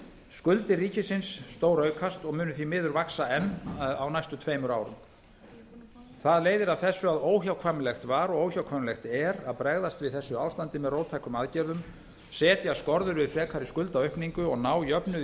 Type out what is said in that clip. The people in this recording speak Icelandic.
skuldir ríkisins stóraukast og munu því miður vaxa enn á næstu tveimur árum það leiðir af best að óhjákvæmilegt var og óhjákvæmilegt er að bregðast við þessu ástandi með róttækum aðgerðum setja skorður við frekari skuldaaukningu og ná jöfnuði